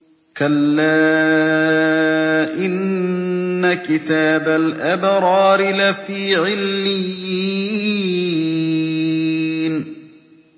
كَلَّا إِنَّ كِتَابَ الْأَبْرَارِ لَفِي عِلِّيِّينَ